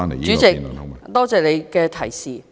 主席，多謝你的提示。